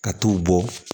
Ka t'u bɔ